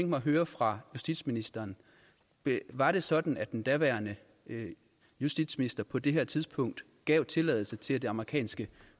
mig at høre fra justitsministeren var det sådan at den daværende justitsminister på det her tidspunkt gav tilladelse til at det amerikanske